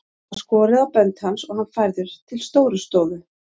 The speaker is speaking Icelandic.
Það var skorið á bönd hans og hann færður til Stórustofu.